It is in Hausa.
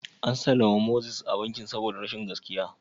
An sallami Moses daga bankin saboda rashin gaskiya?